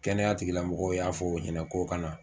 Kɛnɛyatigilamɔgɔw y'a fɔ o ɲɛnɛ k'o ka na